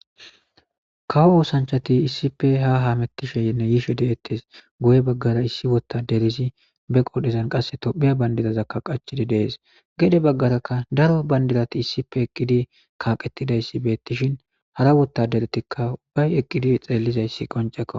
kawo oosanchati issipe ha haamettisheynne yishe deettes guye baggara issi wotta derisi be qodhezan qasse tophiya bandirazakka qachidi dees gede baggaraka daro bandirati issipe eqqidi kaaqettidayssi beettishin hara wottaderetikka ubbay eqqidi xeellizayssi qonceko